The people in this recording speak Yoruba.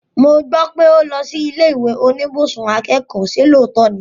Mo gbọ́ pé o lọ sí ilé ìwé oníbùsùn akẹ́kọ̀ọ́, ṣe lóòótọ́ ni?